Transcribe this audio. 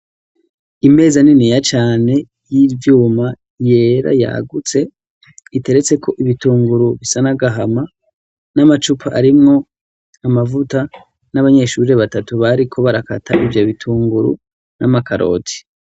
Imeza niniya cane y'ivyuma, yera yagutse iteretseko ibitunguru bisa n'agahama, n'amacupa arimwo amavuta, n'abanyeshurire batatu bariko barakata ivyo bitunguru n'amakaroti.